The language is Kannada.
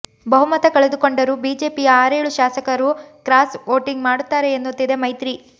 ಬಹುಮತ ಕಳೆದುಕೊಂಡರೂ ಬಿಜೆಪಿಯ ಆರೇಳು ಶಾಸಕರು ಕ್ರಾಸ್ ಓಟಿಂಗ್ ಮಾಡುತ್ತಾರೆ ಎನ್ನುತ್ತಿದೆ ಮೈತ್ರಿ